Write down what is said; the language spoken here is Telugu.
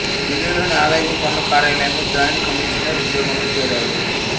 డిల్లీలోని ఆదాయపు పన్ను కార్యాలయంలో జాయింట్ కమీషనర్ ఉద్యోగంలో చేరారు